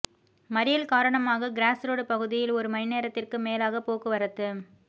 மறியல் காரணமாக cross road பகுதியில் ஒரு மணி நேரத்திற்கும் மேலாக போக்குவரத்து